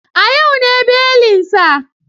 A yau ne belin sa.